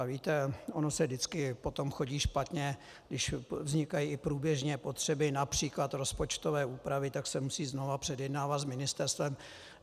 A víte, ono se vždycky potom chodí špatně, když vznikají i průběžně potřeby například rozpočtové úpravy, tak se musí znova předjednávat s ministerstvem.